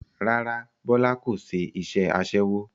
Rárá Bọlá kò ṣe iṣẹ́ aṣẹ́wó